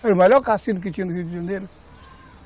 Foi o melhor cassino que tinha no Rio de Janeiro.